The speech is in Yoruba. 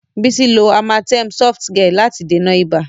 Bísí lo Amatem Softgel láti dènà ibà.